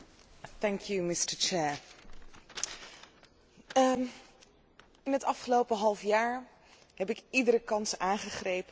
Het afgelopen halfjaar heb ik iedere kans aangegrepen om naar de Balkan en Turkije toe te gaan om met mensen daar te spreken.